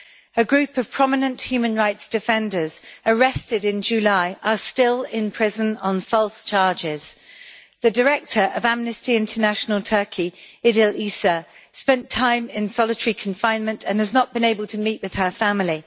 A group of prominent human rights defenders, arrested in July, are still in prison on false charges. The director of Amnesty International Turkey, Idil Eser, spent time in solitary confinement and has not been able to meet with her family.